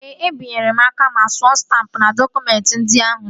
Ee, e binyela m aka ma suo stampụ n'dọkụmentị ndị ahụ niile